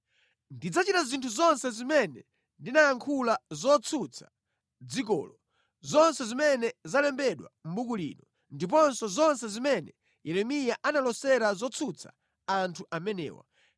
Ndidzachita zinthu zonse zimene ndinayankhula zotsutsa dzikolo, zonse zimene zalembedwa mʼbuku lino, ndiponso zonse zimene Yeremiya analosera zotsutsa anthu amenewa.